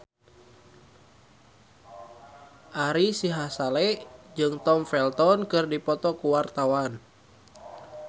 Ari Sihasale jeung Tom Felton keur dipoto ku wartawan